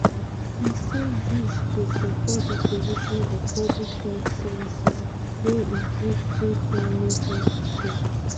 e say dis go support di provision of public health services wey include free primary healthcare.